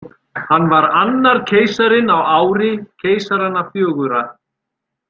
Hann var annar keisarinn á ári keisaranna fjögurra.